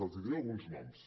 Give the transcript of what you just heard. els diré alguns noms